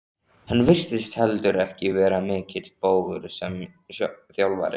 Hann virtist heldur ekki vera mikill bógur sem þjálfari.